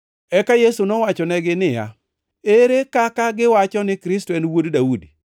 Eka Yesu nowachonegi niya, “Ere kaka giwacho ni Kristo en Wuod Daudi?